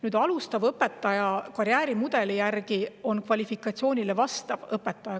Nüüd, alustav õpetaja on karjäärimudeli järgi kvalifikatsioonile vastav õpetaja.